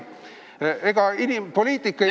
Ega poliitik ei pea ...